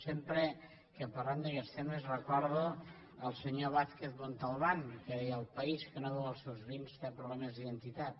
sempre que parlem d’aguests temes recordo el senyor vázquez montalbán que deia el país que no beu els seus vins té problemes d’identitat